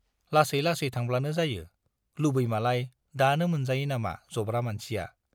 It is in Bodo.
लासै लासै थांब्लानो जायो, लुबैमालाय दानो मोनजायो नामा जब्रा मानसिया।